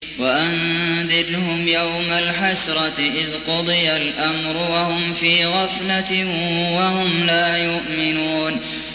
وَأَنذِرْهُمْ يَوْمَ الْحَسْرَةِ إِذْ قُضِيَ الْأَمْرُ وَهُمْ فِي غَفْلَةٍ وَهُمْ لَا يُؤْمِنُونَ